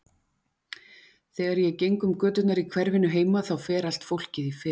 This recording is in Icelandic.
Þegar ég geng um göturnar í hverfinu heima þá fer allt fólkið í felur.